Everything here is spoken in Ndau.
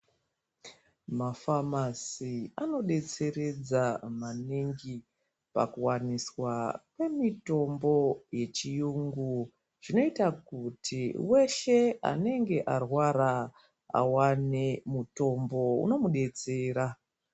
Mafamaei anodetseredza maningi pakuwaniswa kwemitombo yechiyungu zvinoita kuti weshe anenge arwara awane mutombo unomudetsera.